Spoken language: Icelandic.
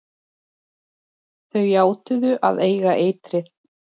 Þau játuðu að eiga eitrið.